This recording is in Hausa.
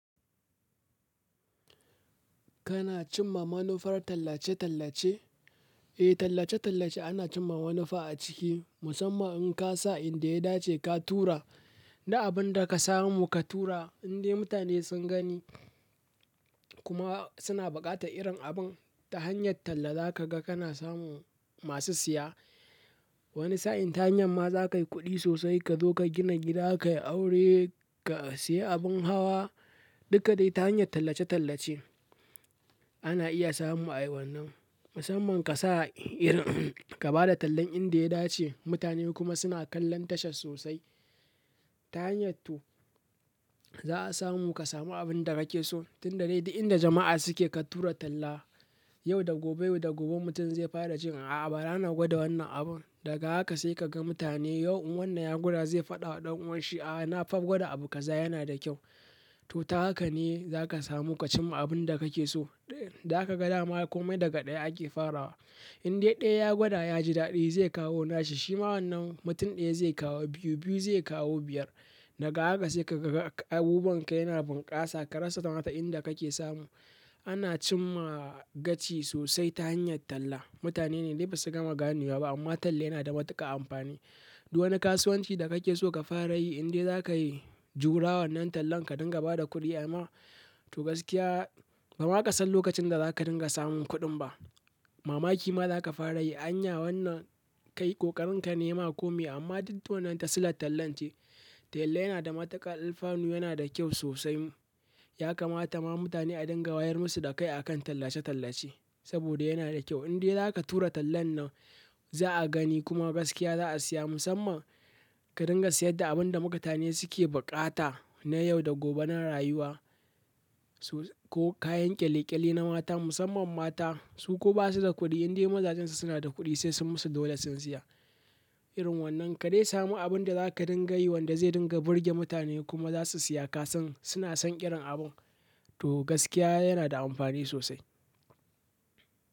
Kana cimma manufar tallace-tallace? Eh, tallace-tallace ana cimma manufa a ciki musamman in ka sa inda ya dace ka tura, da abin da ka samu ka tura indai mutane sun gani kuma suna buƙatar irin abun ta hanyar talla za ka ga kana samu masu siya. Wani sa'in ta hanyar ma za kayi kuɗi sosai ka zo ka gina gida, ka yi aure, ka sayi abin hawa duka dai ta hanyar tallace-tallace. Ana iya samun ayi wannan, musamman kasa ka ba da tallan inda ya dace, mutane kuma suna kallon tashan sosai. Ta hanyar to, za a samu kasamu abunda kake so, tunda dai duk inda jama'a suke ka tura tallan. Yau da gobe, yau da gobe mutum zai fara cewa a'a bara na gwada wannan abun daga haka sai ka ga mutane yau in wannan ya gwada zai faɗa wa ɗan uwanshi a'a nafa gwada abu ka za yana da kyau. To ta haka ne za ka samu ka cimma abin da kake so. Za aka ga dama kome daga ɗaya ake farawa. Indai ɗaya ya gwada yaji daɗi zai kawo nashi, shima wannan mutum ɗaya zai kawo biyu, biyu zai kawo biyar. Daga haka sai ka ga abubuwanka yana bunƙasa ka rasa ma ta inda kake samu. Ana cimma gaci sosai ta hanyar talla. Mutane ne dai ba su gama gane wa ba amma talla yana da matuƙar amfani. Duk wani kasuwanci da kake so ka fara yi indai za ka yi jura wannan tallan ka dinga ba da kuɗi amma to gaskiya ba ma ka san lokacin da za ka dinga samun kuɗin ba. Mamaki ma za ka fara yi anya wannan kai ƙoƙarin ka ne yama ko mai amma duk dai wannan ta silan tallance. Talla yana da matuƙar alfanu yana da kyau sosai, yakamata ma mutane a dinga wayar musu da kai akan tallace tallace. Indai za ka tura tallan nan. Za'a gani kuma gaskiya za a siya musamman ka dinga siyar da abin da mutane suke buƙata na yau da gobe na rayuwa su ko kayan kyale-kyale na mata musamman mata su ko ba su da kuɗi indai mazajen su suna da kuɗi sai sun musu dole sun siya. Irin wannan ka dai samu abun da za ka dinga yi wanda zai dinga burge mutane kuma za su siya ka san suna son ƙiran abun. To gaskiya yana da amfani sosai.